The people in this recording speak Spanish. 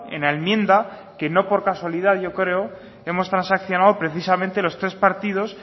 en la enmienda que no por casualidad yo creo que hemos transaccionado precisamente los tres partidos